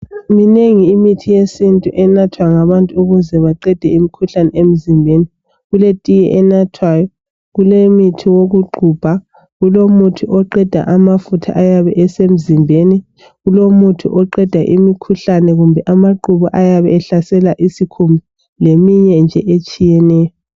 Minengi imithi yesintu enathwa ngabantu ukuze baqede imikhuhlane emzimbeni. Kuletiye enathwayo, kulemithi wokuxubha, kulomuthi oqeda amafutha ayabe esemzimbeni, kulomuthi oqeda imikhuhlane kumbe amaqhubu ayabe ehlasela isikhumba leminye nje etshiyeneyo.